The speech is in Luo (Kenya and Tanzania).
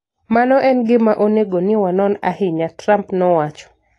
" Mano en gima onego ni wanon ahinya, " Trump nowacho